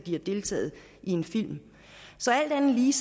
har deltaget i en film så alt andet lige